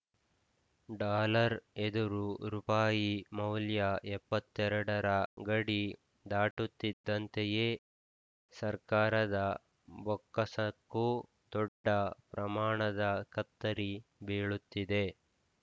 dollar ಎದುರು ರುಪಾಯಿ ಮೌಲ್ಯ ಎಪ್ಪತ್ತ್ ಎರಡರ ಗಡಿ ದಾಟುತ್ತಿದ್ದಂತೆಯೇ ಸರ್ಕಾರದ ಬೊಕ್ಕಸಕ್ಕೂ ದೊಡ್ಡ ಪ್ರಮಾಣದ ಕತ್ತರಿ ಬೀಳುತ್ತಿದೆ